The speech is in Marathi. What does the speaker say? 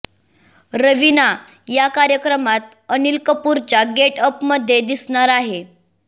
रवीना या कार्यक्रमात अनिल कपूरच्या गेटअप मध्ये दिसणार आहे